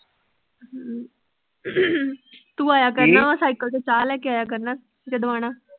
ਤੂੰ ਆਇਆ ਕਰਨਾ ਵਾ cycle ਤੇ ਚਾਹ ਲੈ ਆਇਆ ਕਰਨਾ ਜਦੋਂ ਆਣਾ।